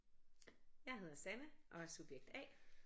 Jeg hedder Sanne og er subjekt A